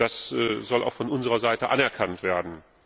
Das soll auch von unserer Seite anerkannt werden.